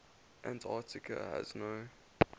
antarctica has no